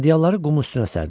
Hədyalları qumun üstünə sərdilər.